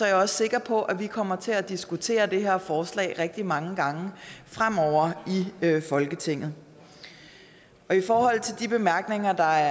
jeg også sikker på at vi fremover kommer til at diskutere det her forslag rigtig mange gange i folketinget i forhold til de bemærkninger der